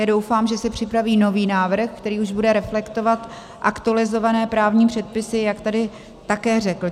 Já doufám, že si připraví nový návrh, který už bude reflektovat aktualizované právní předpisy, jak tady také řekl.